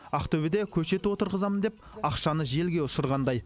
ақтөбеде көшет отырғызамын деп ақшаны желге ұшырғандай